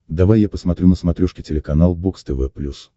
давай я посмотрю на смотрешке телеканал бокс тв плюс